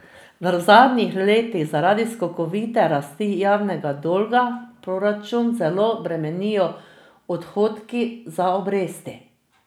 V zadnjih letih zaradi skokovite rasti javnega dolga proračun zelo bremenijo odhodki za obresti.